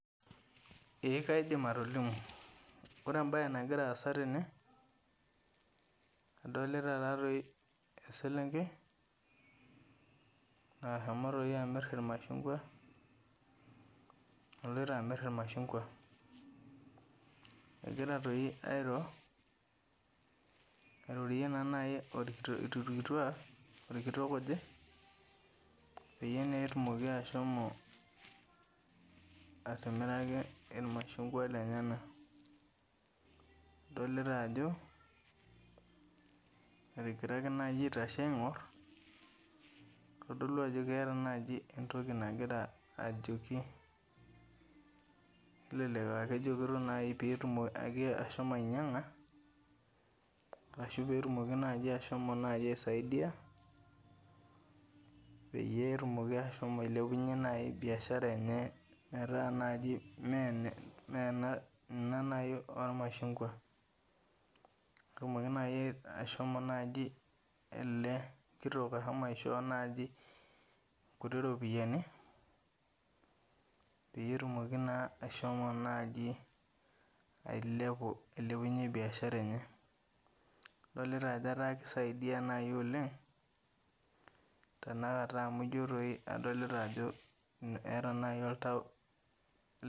Ee kaidim atolimu. Ore ebae nagira aasa tene, adolita tatoi eselenkei nashomo toi amir irmashungwa naloito amir irmashungwa. Kegira toi airo, airorie naa nai irkitiak orkitok oje, peyie naa etumoki ashomo atimira irmashungwa lenyanak. Adolita ajo, etigiraki naji aitashe aing'or, kitodolu ajo keeta naji entoki nagira ajoki. Nelelek akejokito nai petum ashomo ainyang'a, ashu petumoki ashomo nai aisaidia, peyie etumoki ashomo ailepunye biashara enye metaa naji mena ena nai ormashungwa. Etumoki nai ashomo naji ele kitok ashomo aishoo naji kuti ropiyiani, petumoki naa ashomo naji ailepu ailepunye biashara enye. Adolita ajo etaa kisaidia nai oleng, tanakata amu ijo toi adolita ajo eeta nai oltau